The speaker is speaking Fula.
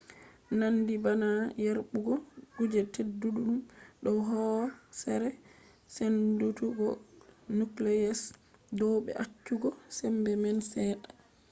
nandi bana yerbugo kuje tedduɗum dow hoosere. sendutuggo nucleus dow be accugo sembe man seɗɗa